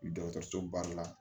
Dɔgɔtɔrɔsoba la